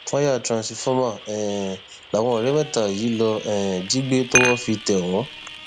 wáyà tìrúnsifọmà um làwọn ọrẹ mẹta yìí lọọ um jí gbé tọwọ fi tẹ wọn